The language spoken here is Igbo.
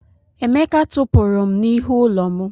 Emeka tụpụrụ m n'ihu ụlọ m.